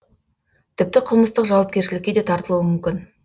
тіпті қылмыстық жауапкершілікке де тартылуы мүмкін